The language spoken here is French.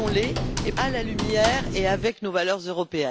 Protégeons les à la lumière de nos valeurs européennes.